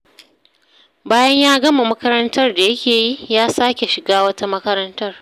Bayan ya gama makarantar da yake yi, ya sake shiga wata makarantar.